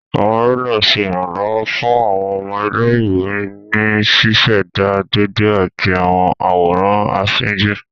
Awọn Rúlà ṣe iranlọwọ fun awọn ọmọ ilé-ìwé ní ṣiṣẹda déédé ati awọn àwòrán afínjú.